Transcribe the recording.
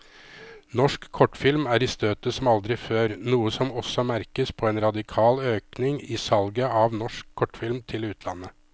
Norsk kortfilm er i støtet som aldri før, noe som også merkes på en radikal økning i salget av norsk kortfilm til utlandet.